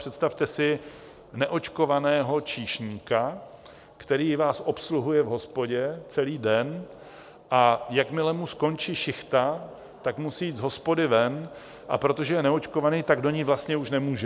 Představte si neočkovaného číšníka, který vás obsluhuje v hospodě celý den, a jakmile mu skončí šichta, tak musí jít z hospody ven, a protože je neočkovaný, tak do ní vlastně už nemůže.